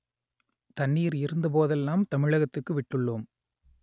தண்ணீர் இருந்த போதெல்லாம் தமிழகத்துக்கு விட்டுள்ளோம்